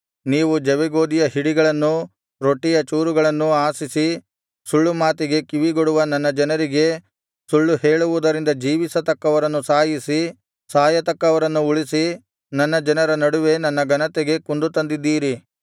ನೀವು ಜವೆಗೋದಿಯ ಹಿಡಿಗಳನ್ನೂ ರೊಟ್ಟಿಯ ಚೂರುಗಳನ್ನೂ ಆಶಿಸಿ ಸುಳ್ಳು ಮಾತಿಗೆ ಕಿವಿಗೊಡುವ ನನ್ನ ಜನರಿಗೆ ಸುಳ್ಳು ಹೇಳುವುದರಿಂದ ಜೀವಿಸತಕ್ಕವರನ್ನು ಸಾಯಿಸಿ ಸಾಯತಕ್ಕವರನ್ನು ಉಳಿಸಿ ನನ್ನ ಜನರ ನಡುವೆ ನನ್ನ ಘನತೆಗೆ ಕುಂದುತಂದಿದ್ದೀರಿ